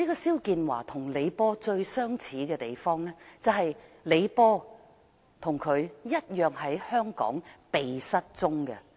肖建華與李波最相似的地方，就是李波與他同樣在香港"被失蹤"。